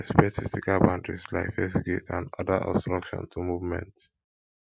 respect physical boundaries like fence gate and oda obstruction to movement